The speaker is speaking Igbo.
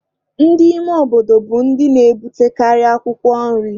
Ndị ime obodo bụ ndị na-ebutekarị̀ akwụkwọ nri.